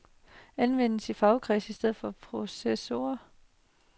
Anvendes i fagkredse i stedet for processor.